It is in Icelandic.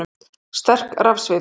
Sterk rafsvið